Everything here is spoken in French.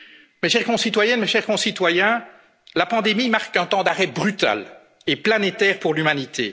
et au monde. Mes chères concitoyennes, mes chers concitoyens, la pandémie marque un temps d'arrêt brutal et planétaire pour